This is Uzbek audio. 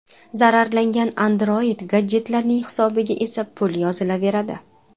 Zararlangan Android-gadjetlarning hisobiga esa pul yozilaveradi.